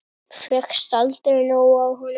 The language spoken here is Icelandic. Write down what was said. Fékkst aldrei nóg af honum.